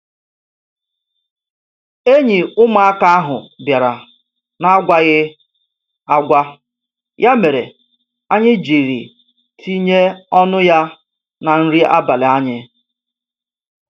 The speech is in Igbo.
Enyi ụmụaka ahụ bịara n'agwaghi agwa, ya mere anyị jiri tinye ọnụ ya na nri abalị anyị.